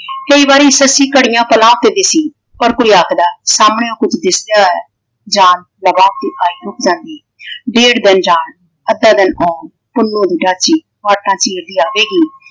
ਕਈ ਬਾਰੀ ਸੱਸੀ ਘੜੀਆਂ ਪਲਾਂ ਤੇ ਦਿੱਸੀ। ਪਰ ਕੋਈ ਆਖਦਾ ਸਾਹਮਣੇ ਔ ਕੁੱਝ ਦਿੱਸਦਾ ਹੈ। ਜਾਨ ਲਗਾ ਕੇ ਆਈ ਉੱਠ ਜਾਂਦੀ ਡੇਢ ਦਿਨ ਜਾਣ ਅੱਧਾ ਦਿਨ ਆਉਣ ਪੁੰਨੂੰ ਦੀ ਡਾਚੀ ਵਾਹਟਾਂ ਚੀਰਦੀ ਆਵੇਗੀ।